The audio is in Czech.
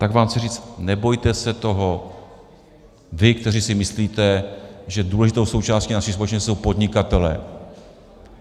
Tak vám chci říct, nebojte se toho, vy, kteří si myslíte, že důležitou součástí naší společnosti jsou podnikatelé.